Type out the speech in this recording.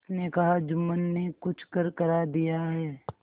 उसने कहाजुम्मन ने कुछ करकरा दिया है